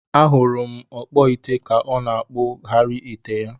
Ahuru m okpu ite ka ọ na akpu ghari ite ya.